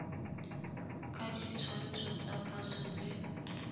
ka ditshwantsho tsa pasa tse